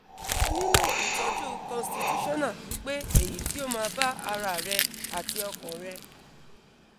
o nilo itoju constitutional pipe eyi ti o ma ba ara re ati okan re